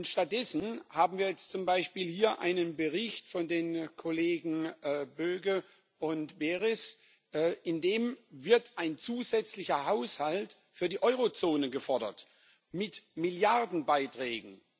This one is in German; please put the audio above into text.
Stattdessen haben wir jetzt zum Beispiel hier einen Bericht von den Kollegen Böge und Berès, in dem ein zusätzlicher Haushalt für die Eurozone gefordert wird mit Milliardenbeiträgen.